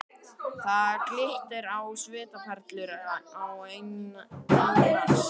Það glittir á svitaperlur á enni hans.